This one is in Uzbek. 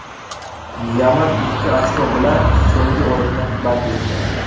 Yaman ikki ochko bilan so‘nggi o‘rinni band etgan.